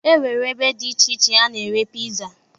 E nwere ebe dị iche iche a na-ere piza